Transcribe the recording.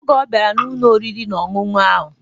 Oge ọ bịara n'Ụlọ oriri na ọṅụṅụ ahụ